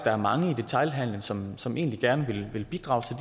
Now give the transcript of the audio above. er mange i detailhandelen som som egentlig gerne ville bidrage til